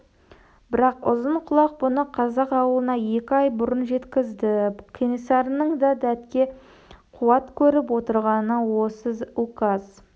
бірақ ұзынқұлақ бұны қазақ ауылына екі ай бұрын жеткізді кенесарының да дәтке қуат көріп отырғаны осы указ